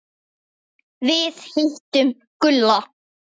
Við hittum Gulla.